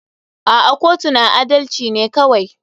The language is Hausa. A'a kotu na adalci ne kawai.